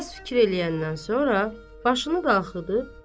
Bir az fikir eləyəndən sonra başını daxılıb.